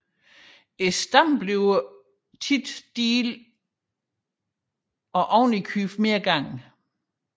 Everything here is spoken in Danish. Stammen bliver ofte flerdelt og tilmed flere gange